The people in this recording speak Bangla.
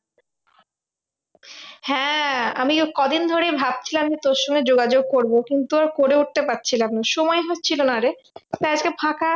হ্যাঁ আমিও কদিন ধরে ভাবছিলাম যে, তোর সঙ্গে যোগাযোগ করবো। কিন্তু করে উঠতে পারছিলাম না সময় হচ্ছিলো না রে। আজকে ফাঁকা আছি